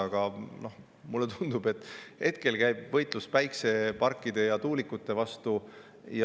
Aga mulle tundub, et hetkel käib võitlus päikeseparkide ja tuulikute vastu.